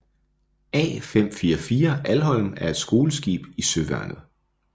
A544 Alholm er et skoleskib i Søværnet